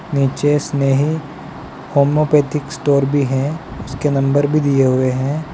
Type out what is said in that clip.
नीचे Snehi homeopathy store भी है उसके नंबर भी दिये हुए हैं।